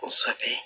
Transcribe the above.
Kosɛbɛ